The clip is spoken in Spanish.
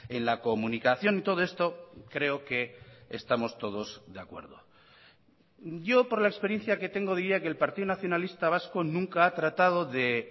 en la comunicación y todo esto creo que estamos todos de acuerdo yo por la experiencia que tengo diría que el partido nacionalista vasco nunca ha tratado de